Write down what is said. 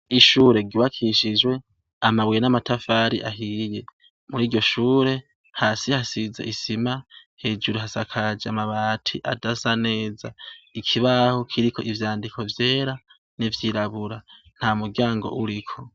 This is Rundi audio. Ishure ryubakishijwe amabuye n'amatafari ahiye muri ryo shure hasi hasize isima hejuru hasakaje amabati adasa neza ikibaho kiriko ivyandiko vyera n'ivyirabura nta muryango uriko.